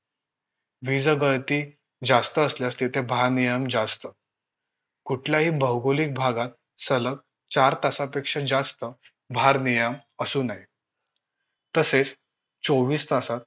वीजगळती जास्त असल्यास तिथे भारनियम जास्त कुठल्याही भौगोलिक भागात सलग चार तासापेक्षा जास्त भारनियम असू नये तसेच चोवीस तासात